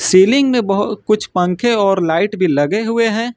Tilling में बहु कुछ पंखे और लाइट भी लगे हुए हैं।